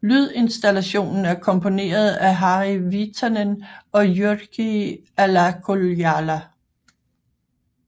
Lydinstallationen er komponeret af Harri Viitanen og Jyrki Alakuijala